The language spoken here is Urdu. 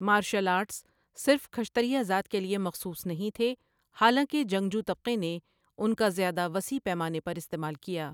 مارشل آرٹس صرف کھشتریا ذات کے لیے مخصوص نہیں تھے، حالانکہ جنگجو طبقے نے ان کا زیادہ وسیع پیمانے پر استعمال کیا۔